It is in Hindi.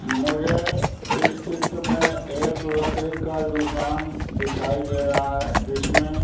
मुझे इस चित्र में एक लकड़ी का दुकान दिखाई दे रहा है जिसमें--